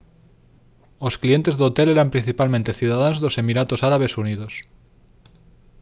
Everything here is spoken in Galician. os clientes do hotel eran principalmente cidadáns dos emiratos árabes unidos